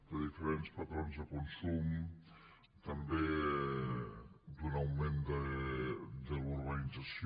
de diferents patrons de consum també d’un augment de la urbanització